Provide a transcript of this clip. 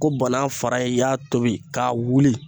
Ko banan fara i y'a tobi k'a wuli